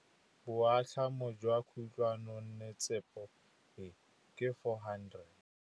Boatlhamô jwa khutlonnetsepa e, ke 400.